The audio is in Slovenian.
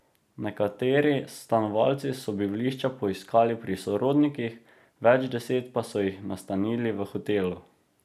Nekateri stanovalci so bivališča poiskali pri sorodnikih, več deset pa so jih nastanili v hotelu.